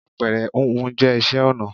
Àpẹrẹ húnhun jẹ́ isẹ́ ọnà